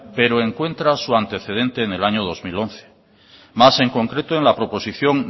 pero encuentra su antecedente en el año dos mil once más en concreto en la proposición